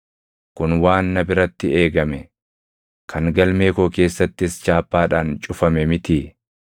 “Kun waan na biratti eegame, kan galmee koo keessattis chaappaadhaan cufame mitii?